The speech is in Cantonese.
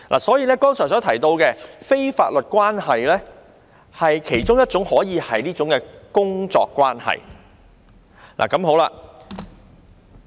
所以，剛才所提到的非法律關係可以是工作關係。